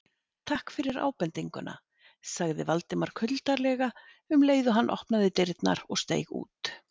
Takk fyrir ábendinguna- sagði Valdimar kuldalega um leið og hann opnaði dyrnar og steig út.